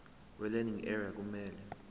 welearning area kumele